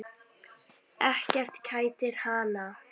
Ekkert kætir hann.